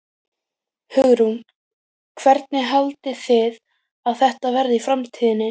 Hugrún: Hvernig haldið þið að þetta verði í framtíðinni?